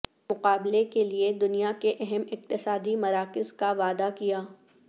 مقابلے کے لئے دنیا کے اہم اقتصادی مراکز کا وعدہ کیا